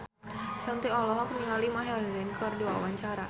Shanti olohok ningali Maher Zein keur diwawancara